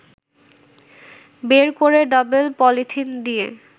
বের করে double polythene দিয়ে